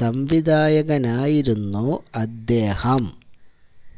സംവിധായകനായിരുന്നു അദ്ദേഹം